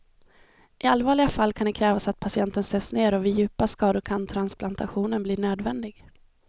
I allvarliga fall kan det krävas att patienten sövs ner och vid djupa skador kan transplantation bli nödvändig.